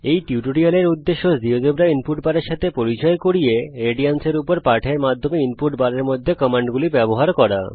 এই টিউটোরিয়ালটির উদ্দেশ্য আপনাকে জীয়োজেব্রা ইনপুট বারের সাথে পরিচয় করানো এবং রেডিয়ানস এর উপর পাঠের মাধ্যমে ইনপুট বারের মধ্যে কমান্ডগুলি ব্যবহার করা